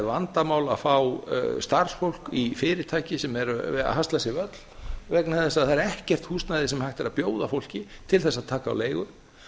vandamál að fá starfsfólk í fyrirtæki sem eru að hasla sér völl vegna þess að það er ekkert húsnæði sem hægt er að bjóða fólki til þess að taka á leigu